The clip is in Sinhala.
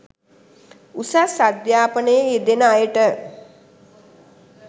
උසස් අධ්‍යාපනයේ යෙදෙන අයට